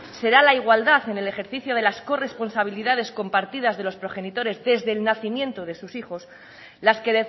será la igualdad en el ejercicio de las corresponsabilidades compartidas de los progenitores desde el nacimiento de sus hijos las que